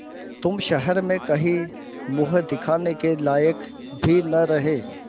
तुम शहर में कहीं मुँह दिखाने के लायक भी न रहे